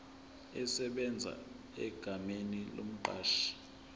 esebenza egameni lomqashi